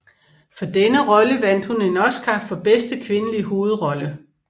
For denne rolle vandt hun en Oscar for bedste kvindelige hovedrolle